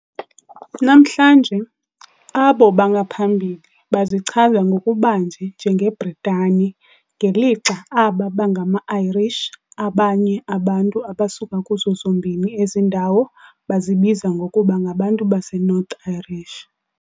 Namhlanje, abo bangaphambili bazichaza ngokubanzi njengeBritane, ngelixa aba bangama-Irish, abanye abantu abasuka kuzo zombini ezi ndawo bazibiza ngokuba ngabantu baseNorthern Irish.